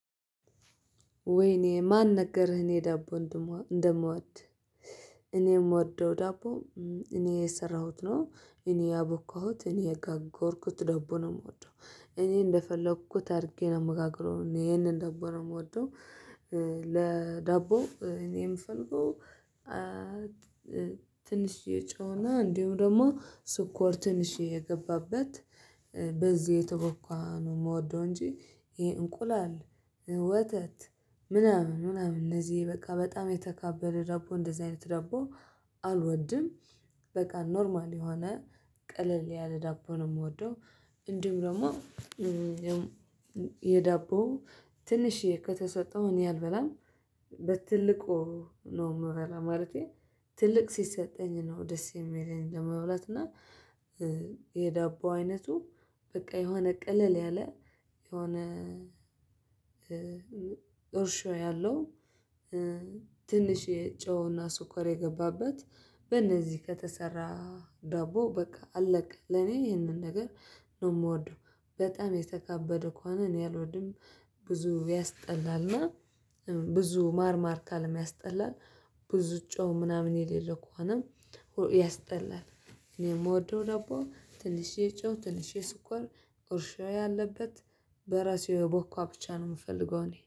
ወይኔ ማን ነገርህ እኔ ዳቦ እንደምዋድ። እኔም የምወደው ዳቦ እኔ የሰራሁት ነው። እኔ ያቦካሁት እኔ የጋገርኩት ዳቦ ነው የምወደው እኔ እንደፈለኩት አድርጌ ነው የምጋግረው እኔ ይሄንን ዳቦነው የምወደው። ዳቦ እኔ የምፈልገው። ትንሽዬ ጨውና እንዲሁም ደግሞ ስኮር ትንሽዬ የገባበት በዚህ የተቦካ ነው የምወደው። እንጂ ይሄ እንቁላል ወተት ምናምን ምናምን እነዚህ በቃ በጣም የተካበደ ዳቦ እንደዚህ አይነት ዳቦ አልወድም። በቃ ኖርማል የሆነ ቀለል ያለ ዳቦ ነው የምወደው። እንዲሁም ደግሞ የዳቦ ትንሽዬ ከተሰጠው እኔ አልበላም። በትልቁ ነው የምበላ ማለቴ ትልቅ ሲሰጠኝ ነው ደስ የሚለኝ ለመብላት እና። የዳቦ አይነቱ በቃ የሆነ ቅልል ያለ የሆነ እርሾ ያለው። ትንሽ ጨውና ስኮር የገባበት በነዚህ ከተሰራ ዳቦ በቃ አለቀ ለኔ ይህንን ነገር ነው የምወደው። በጣም የተካበደ ከሆነ እኔ አልወድም። ብዙ ያስጠላልና ብዙ ማርማር ካልም ያስጠላል። ብዙ ጨው ምናምን የሌለው ከሆነም ያስጠላል። እኔም የምወደው ደቦ ትንሽ ጨው ትልሼ ስኳር እርሾ ያለበት በራሴ የቦካ ብቻ ነው የምፈልገው እኔ